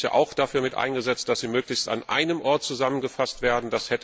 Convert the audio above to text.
Wir hatten uns dafür eingesetzt, dass sie möglichst an einem Ort zusammengefasst werden.